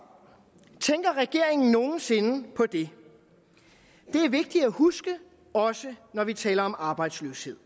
tænker regeringen nogen sinde på det det er vigtigt at huske også når vi taler om arbejdsløshed